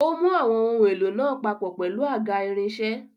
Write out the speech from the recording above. Ó mú àwọn ohun èlò náà papọ̀ pẹ̀lú àga irinṣẹ́.